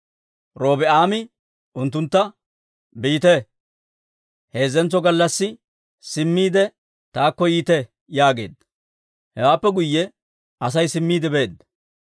Robi'aame unttuntta, «Biite; heezzentso gallassi simmiide, taakko yiite» yaageedda. Hewaappe guyye Asay simmiide beedda.